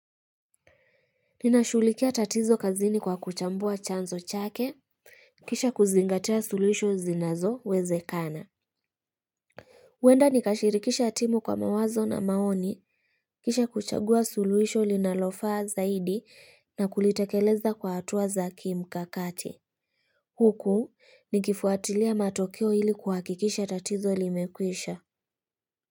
Ninashulikia tatizo kazini kwa kuchambua chanzo chake, kisha kuzingatia suluhisho zinazowezekana. Huenda nikashirikisha timu kwa mawazo na maoni, kisha kuchagua suluhisho linalofaa zaidi na kulitekeleza kwa hatua za kimkakati. Huku nikifuatilia matokeo ili kuhakikisha tatizo limekwisha.